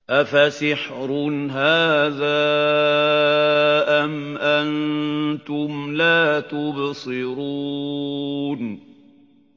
أَفَسِحْرٌ هَٰذَا أَمْ أَنتُمْ لَا تُبْصِرُونَ